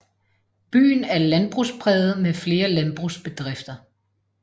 Byen er landbrugspræget med flere landbrugsbedrifter